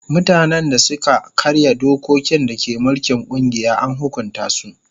Mutanen da suka karya dokokin da ke mulkin kungiya an hukunta su.